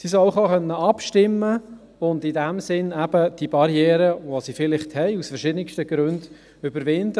Sie sollen auch abstimmen können und in diesem Sinn die Barriere, die sie vielleicht aus verschiedensten Gründen haben, überwinden.